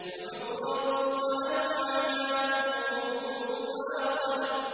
دُحُورًا ۖ وَلَهُمْ عَذَابٌ وَاصِبٌ